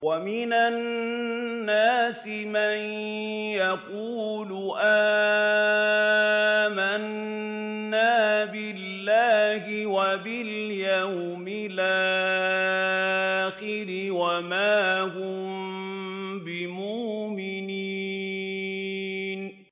وَمِنَ النَّاسِ مَن يَقُولُ آمَنَّا بِاللَّهِ وَبِالْيَوْمِ الْآخِرِ وَمَا هُم بِمُؤْمِنِينَ